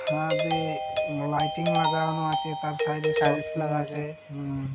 ছাদে লাইটিং লাগানো আছে তার সাইড এ সার্ভিস লেখা আছে উম।